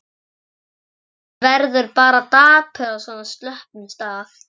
Maður verður bara dapur á svona slöppum stað.